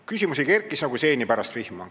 Küsimusi kerkis nagu seeni pärast vihma.